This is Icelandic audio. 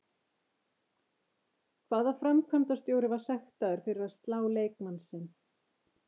Hvaða framkvæmdarstjóri var sektaður fyrir að slá leikmann sinn?